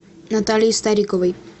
натальи стариковой